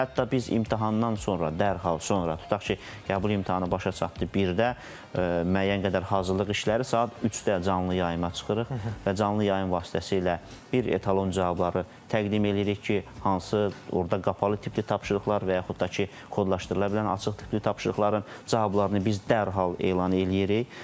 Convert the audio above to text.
Hətta biz imtahandan sonra dərhal sonra, tutaq ki, qəbul imtahanı başa çatdı birdə müəyyən qədər hazırlıq işləri saat 3-də canlı yayıma çıxırıq və canlı yayım vasitəsilə bir etalon cavabları təqdim eləyirik ki, hansı orda qapalı tipli tapşırıqlar və yaxud da ki, kodlaşdırıla bilən açıq tipli tapşırıqların cavablarını biz dərhal elan eləyirik.